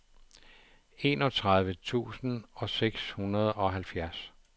enogtredive tusind og seksoghalvfjerds